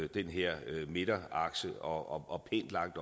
den her midterakse og og pænt langt